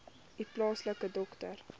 u plaaslike dokter